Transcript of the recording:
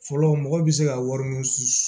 Fɔlɔ mɔgɔw bɛ se ka wari min s